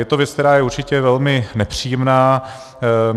Je to věc, která je určitě velmi nepříjemná.